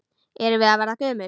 Erum við að verða gömul?